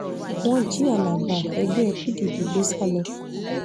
wọ́n jí alága ẹgbẹ́ pdp gbé sá lọ